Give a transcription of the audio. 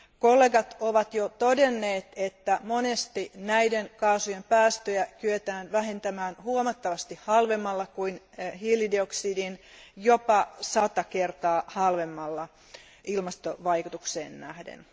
Kollegat ovat jo todenneet, että monesti näiden kaasujen päästöjä kyetään vähentämään huomattavasti halvemmalla kuin hiilidioksidin, jopa sata kertaa halvemmalla ilmastovaikutukseen nähden.